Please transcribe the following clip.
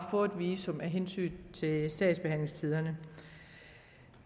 få et visum af hensyn til sagsbehandlingstiderne